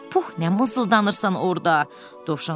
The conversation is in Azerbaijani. Pux, nə mızıldanırsan orda, Dovşan soruşdu.